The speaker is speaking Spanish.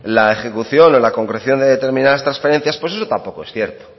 la ejecución o la concreción de determinadas transferencias pues eso tampoco es cierto